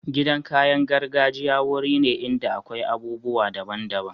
Gidan kayan gargajiya wuri ne inda akwai abubuwa daban daban.